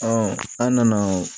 an nana